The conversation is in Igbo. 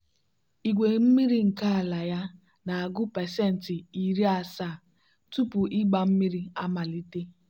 igwe mmiri nke ala ya na-agụ pasenti iri asaa tupu ịgba mmiri amalite.